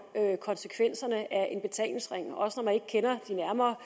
konsekvenserne af en betalingsring også når man ikke kender det nærmere